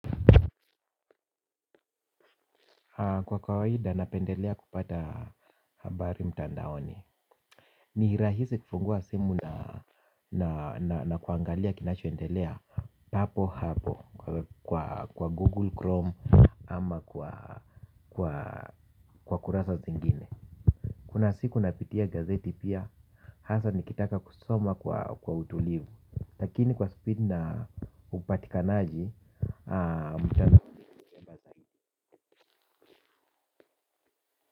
Kwa kawaida napendelea kupata habari mtandaoni. Ni rahisi kufungua simu na kuangalia kinachoendelea. Papo hapo kwa google chrome ama kwa kurasa zingine. Kuna siku napitia gazeti pia hasa nikitaka kusoma kwa utulivu lakini kwa speed na upatikanaji mtandao ni vyema zaidi.